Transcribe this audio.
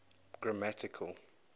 grammatical